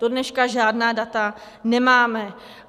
Do dneška žádá data nemáme.